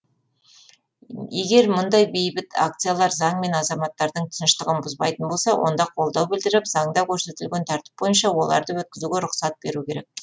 егер мұндай бейбіт акциялар заң мен азаматтардың тыныштығын бұзбайтын болса онда қолдау білдіріп заңда көрсетілген тәртіп бойынша оларды өткізуге рұқсат беру керек